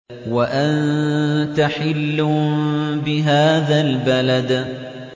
وَأَنتَ حِلٌّ بِهَٰذَا الْبَلَدِ